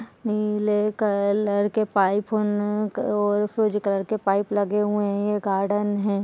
नीले कलर के पाइप और फिरोजी कलर के पाइप लगे हुए हैं ये गार्डन है।